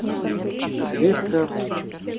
резко